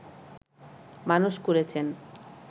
মানুষ করেছেন